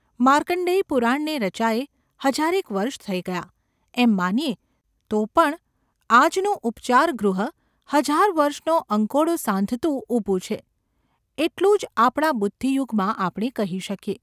માર્કંણ્ડેય પુરાણને રચાયે હજારેક વર્ષ થઈ ગયાં એમ માનીએ તો પણ આજનું ઉપચારગૃહ હજાર વર્ષનો અંકોડો સાંધતું ઊભું છે એટલું જ આપણા બુદ્ધિયુગમાં આપણે કહી શકીએ.